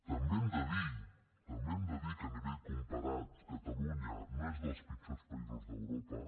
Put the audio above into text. també hem de dir també hem de dir que a nivell comparat catalunya no és dels pitjors països d’europa